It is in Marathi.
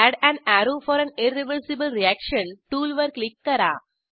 add an arrow for an irreversible reaction टूलवर क्लिक करा